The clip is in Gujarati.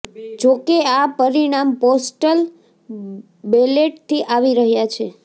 જો કે આ પરિણામ પોસ્ટલ બેલેટથી આવી રહ્યા છે